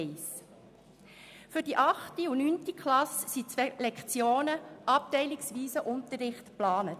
Für die achte und neunte Klasse sind zwei Lektionen abteilungsweisen Unterrichts geplant.